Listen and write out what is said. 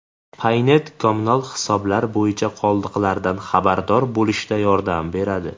Paynet kommunal hisoblar bo‘yicha qoldiqlardan xabardor bo‘lishda yordam beradi.